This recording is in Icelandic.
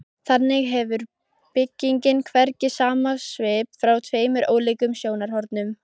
Þannig hefur byggingin hvergi sama svip frá tveimur ólíkum sjónarhornum.